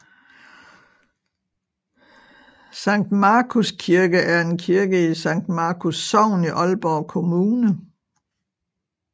Sankt Markus Kirke er en kirke i Sankt Markus Sogn i Aalborg Kommune